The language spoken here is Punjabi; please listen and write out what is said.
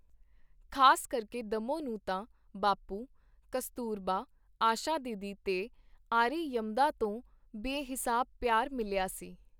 ਖ਼ਾਸ ਕਰਕੇ ਦੱਮੋ ਨੂੰ ਤਾਂ ਬਾਪੂ, ਕਸਤੂਰਬਾ, ਆਸ਼ਾ ਦੀਦੀ ਤੇ ਆਰੀਯਮਦਾ ਤੋਂ ਬੇਹਿਸਾਬ ਪਿਆਰ ਮਿਲਿਆ ਸੀ.